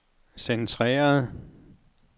centreret